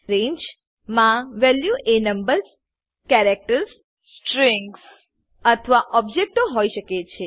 રંગે મા વેલ્યુ એ numbers characters strings અથવા ઓબ્જેક્ટો હોય શકે છે